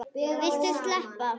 Viltu sleppa!